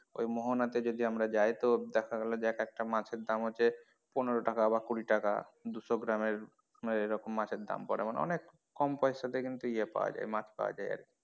ওই মোহনা তে যদি আমরা যাই তো দেখা গেলো যে এক একটা মাছের দাম হচ্ছে পনেরো টাকা বা কুড়ি টাকা দুশো গ্রামের মানে এরকম মাছে দাম পড়ে অনেক কম পয়সা তে কিন্তু ইয়ে পাওয়া যায় মাছ পাওয়া যায় আরকি।